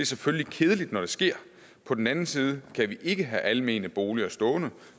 selvfølgelig kedeligt når det sker på den anden side kan vi ikke have almene boliger stående